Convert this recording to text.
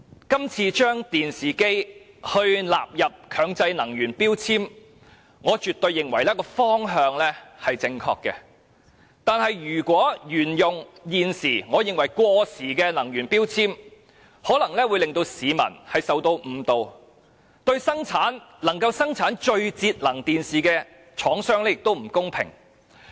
今次把電視機納入強制性能源效益標籤計劃，我絕對認為方向正確，但如果沿用現時我認為過時的能源標籤，不單有可能誤導市民，亦會對生產最節能電視機的廠商不公平。